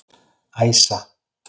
Æsa